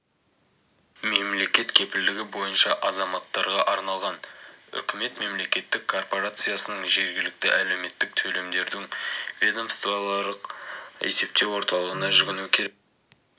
мемлекет кепілдігі бойынша азаматтарға арналған үкімет мемлекеттік корпорациясының жергілікті әлеуметтік төлемдердің ведомствоаралық есептеу орталығына жүгіну керек